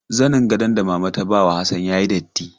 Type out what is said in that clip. Zanin gadon da mama ta ba Hassan ya yi datti.